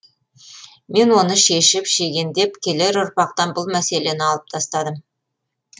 мен оны шешіп шегендеп келер ұрпақтан бұл мәселені алып тастадым